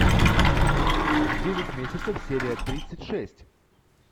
девять месяцев серия тридцать шесть